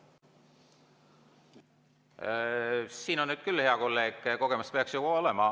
Sinul küll, hea kolleeg, kogemust peaks olema.